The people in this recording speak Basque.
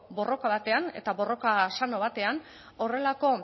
borroka batean eta borroka sano batean horrelako